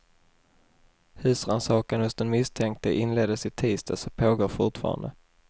Husrannsakan hos den misstänkte inleddes i tisdags och pågår fortfarande.